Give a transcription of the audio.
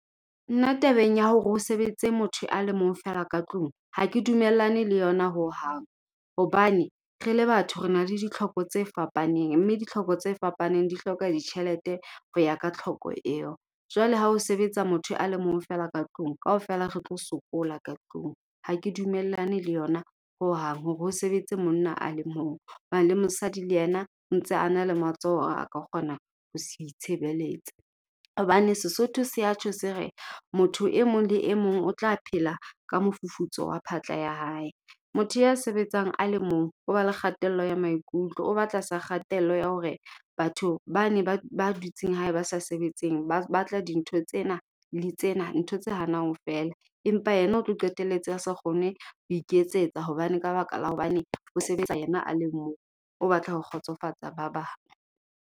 Nna tabeng ya hore ho sebetse motho a le mong fela ka tlung, ha ke dumellane le yona ho hang. Hobane re le batho, re na le ditlhoko tse fapaneng, mme ditlhoko tse fapaneng di hloka ditjhelete ho ya ka tlhoko eo. Jwale ha o sebetsa motho a le mong fela ka tlung, kaofela re tlo sokola ka tlung. Ha ke dumellane le yona ho hang, hore o sebetse monna a le mong. Hoba le mosadi le yena o ntse a na le matsoho a ka kgona ho se itshebeletsa. Hobane Sesotho se ya tjho se re, motho e mong le e mong o tla phela ka mofufutso wa phatla ya hae. Motho ya sebetsang a le mong, o ba le kgatello ya maikutlo, o ba tlasa kgatello ya hore batho bane ba ba dutseng hae ba sa sebetseng, ba batla dintho tsena le tsena. Ntho tse hanang fela. Empa yena o tlo qetelletse a se kgone ho iketsetsa hobane ka baka la hobane o sebetsa yena a le mong. O batla ho kgotsofatsa ba bang.